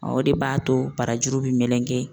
o de b'a to barajuru bɛ meleken.